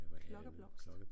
Klokkeblomst